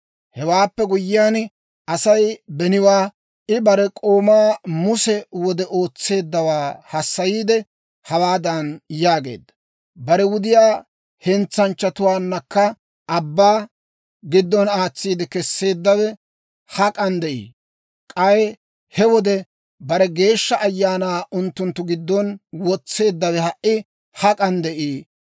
Hewaappe guyyiyaan Asay beniwaa, I bare k'oomaa Muse wode ootseeddawaa hassayiide, hawaadan yaageedda; «Bare wudiyaa hentsanchchatuwaanakka ubbaa abbaa giddona aatsiide kesseeddawe hak'an de'ii? K'ay he wode bare Geeshsha Ayaanaa unttunttu giddon wotseeddawe ha"i hak'an de'ii?